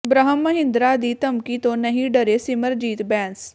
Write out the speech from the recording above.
ਬ੍ਰਹਮ ਮਹਿੰਦਰਾ ਦੀ ਧਮਕੀ ਤੋਂ ਨਹੀਂ ਡਰੇ ਸਿਮਰਜੀਤ ਬੈਂਸ